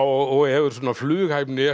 og hefur svona flughæfni